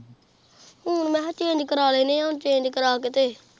ਹੁਣ ਮੈਂ ਕਿਹਾ ਚੇਂਜ ਕਰਾ ਲੈਣੇ ਆ ਹੁਣ ਚੇਂਜ ਕਰਾ ਕੇ ਤੇ।